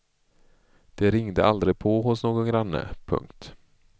De ringde aldrig på hos någon granne. punkt